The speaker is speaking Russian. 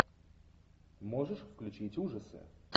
можешь включить ужасы